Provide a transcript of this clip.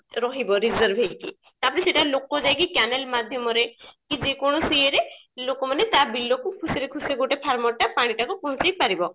ରହିବ reserve ହେଇକି ତାପରେ ସେଟା ଲୋକ ଯାଇକି canal ମାଧ୍ୟମରେ କି ଯେକୌଣସି ଇଏ ରେ ଲୋକ ମାନେ ତା ବିଲ କୁ ଖୁସିରେ ଖୁସିରେ ଗୋଟେ farmer ଟା ପାଣି ଟାକୁ ପହଞ୍ଚେଇ ପାରିବ